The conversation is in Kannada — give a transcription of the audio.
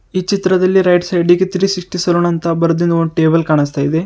ಈ ಚಿತ್ರದಲ್ಲಿ ರೈಟ್ ಸೈಡ್ ಗೆ ಥ್ರೀಸಿಕ್ಸಟಿ ಸಲೋನ್ ಅಂತ ಬರೆದಿರೋ ಒಂದು ಟೇಬಲ್ ಕಾಣಿಸ್ತಾ ಇದೆ.